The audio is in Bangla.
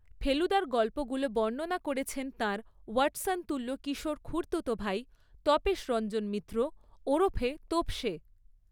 ফেলুদার গল্পগুলো বর্ণনা করেছেন তাঁর ওয়াট্‌সনতুল্য কিশোর খুড়তুতো ভাই তপেশ রঞ্জন মিত্র, ওরফে তোপসে।